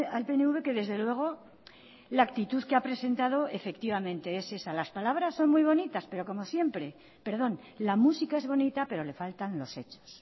al pnv que desde luego la actitud que ha presentado efectivamente es esa las palabras son muy bonitas pero como siempre perdón la música es bonita pero le faltan los hechos